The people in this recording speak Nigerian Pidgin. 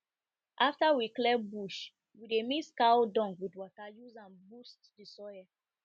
after we clear bush we dey mix cow dung with water use am